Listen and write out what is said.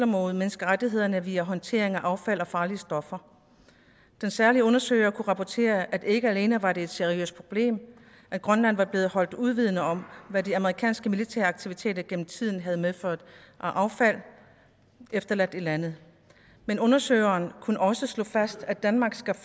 mod menneskerettighederne via håndtering af affald og farlige stoffer den særlige undersøger kunne rapportere at det ikke alene var et seriøst problem at grønland var blevet holdt uvidende om hvad de amerikanske militære aktiviteter gennem tiden havde medført af affald efterladt i landet men undersøgeren kunne også slå fast at danmark skal